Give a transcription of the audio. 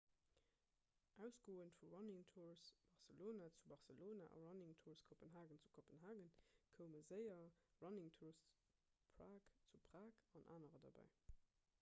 ausgoend vu running tours barcelona zu barcelona a running tours copenhagen zu kopenhagen koume séier running tours prague zu prag an anerer derbäi